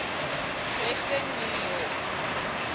western new york